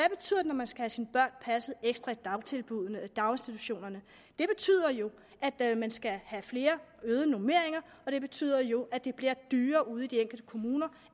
når man skal have sine børn passet ekstra i dagtilbuddene i daginstitutionerne det betyder jo at man skal have øgede normeringer og det betyder jo at det bliver dyrere ude i de enkelte kommuner